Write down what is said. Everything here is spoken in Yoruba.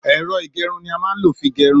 Èro ìgérun ni a má n ló fí gérun